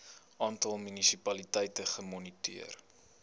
aantal munisipaliteite gemoniteer